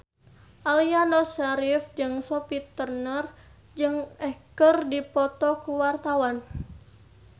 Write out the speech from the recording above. Aliando Syarif jeung Sophie Turner keur dipoto ku wartawan